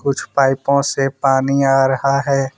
कुछ पाइपों से पानी आ रहा है।